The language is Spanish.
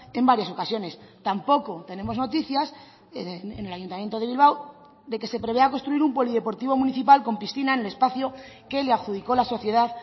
en varias ocasiones tampoco tenemos noticias en el ayuntamiento de bilbao de que se prevea construir un polideportivo municipal con piscina en el espacio que le adjudico la sociedad